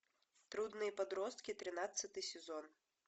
трудные подростки тринадцатый сезон